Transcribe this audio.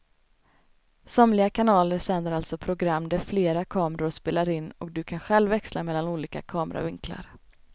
Somliga kanaler sänder alltså program där flera kameror spelar in och du kan själv växla mellan olika kameravinklar.